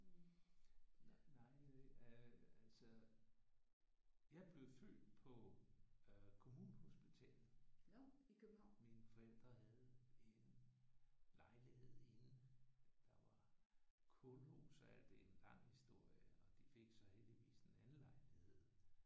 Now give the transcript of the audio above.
Nej øh altså jeg blev født på øh Kommunehospitalet. Mine forældre havde en lejlighed inden der var kulhus og alt det. Det er en lang historie. De fik så heldigvis en anden lejlighed